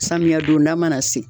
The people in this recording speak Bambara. Samiya donda mana se.